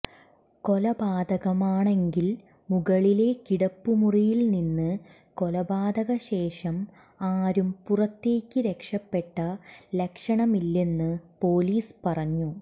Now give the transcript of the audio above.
കൊലപാതകമാണെങ്കിൽ മുകളിലെ കിടപ്പുമുറിയിൽ നിന്ന് കൊലപാതകശേഷം ആരും പുറത്തേക്ക് രക്ഷപ്പെട്ട ലക്ഷണമില്ലെന്ന് പോലീസ് പറഞ്ഞു